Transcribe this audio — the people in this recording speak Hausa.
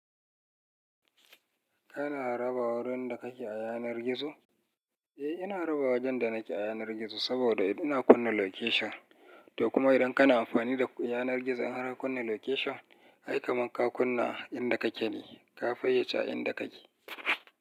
Kana raba wurin da kake a yanar gizo? Eh, ina raba wajen da nake a yanar gizo saboda ina kunna location. To kuma idan kana amfani da yanar gizo in har ka kunna location, ai kamar ka kunna inda kake ne, ka fayyace inda kake.